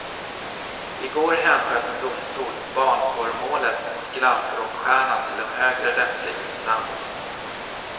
I går hänsköt en domstol barnporrmålet mot glamrockstjärnan till en högre rättslig instans.